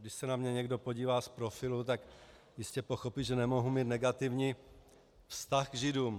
Když se na mě někdo podívá z profilu, tak jistě pochopí, že nemohu mít negativní vztah k Židům.